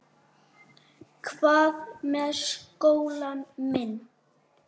Hvað með skólann minn?